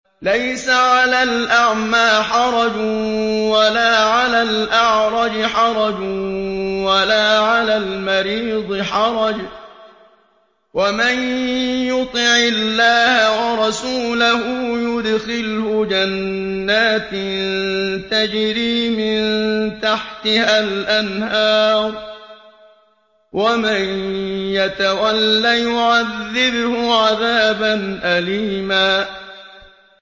لَّيْسَ عَلَى الْأَعْمَىٰ حَرَجٌ وَلَا عَلَى الْأَعْرَجِ حَرَجٌ وَلَا عَلَى الْمَرِيضِ حَرَجٌ ۗ وَمَن يُطِعِ اللَّهَ وَرَسُولَهُ يُدْخِلْهُ جَنَّاتٍ تَجْرِي مِن تَحْتِهَا الْأَنْهَارُ ۖ وَمَن يَتَوَلَّ يُعَذِّبْهُ عَذَابًا أَلِيمًا